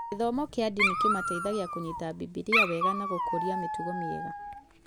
Gĩthomo kĩa ndini kĩmateithaigia kũnyita bibilia wega na gũkũria mĩtugo mĩega